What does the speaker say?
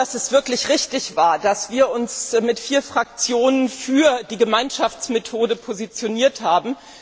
Es war wirklich richtig, dass wir uns mit vier Fraktionen für die Gemeinschaftsmethode positioniert haben.